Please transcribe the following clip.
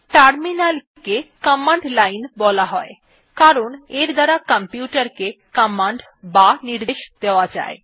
terminal কে command line ও বলা হয় কারণ এর দ্বারা কম্পিউটার কে কমান্ড বা নির্দেশ দেওয়া যায়